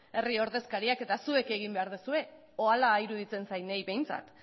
herri ordezkariak eta zuek egin behar duzue edo hala iruditzen zait niri behintzat